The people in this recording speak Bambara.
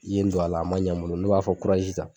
I yen in don a la a ma ɲa n bolo ne b'a fɔ ko kurazi ta